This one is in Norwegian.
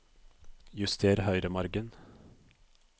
Juster høyremargen